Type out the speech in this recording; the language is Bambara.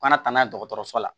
U kana taa n'a ye dɔgɔtɔrɔso la